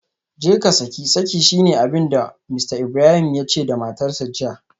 Jeka saki saki shine abinda Mr Ibrahim yace da matarsa ​​jiya